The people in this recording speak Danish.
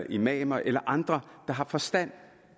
imamer eller andre der har forstand